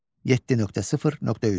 7.0.3.